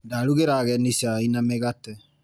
Ndarugĩra ageni cai na mĩgate.